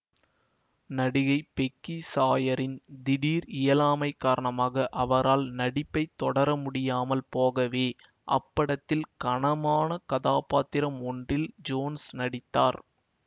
நடிகை பெக்கி சாயரின் திடீர் இயலாமைக் காரணமாக அவரால் நடிப்பைத் தொடரமுடியாமல் போகவே அப்படத்தில் கனமான கதாபாத்திரம் ஒன்றில் ஜோன்ஸ் நடித்தார்